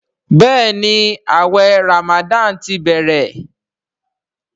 Béèni awé ramadan tí bẹrẹ.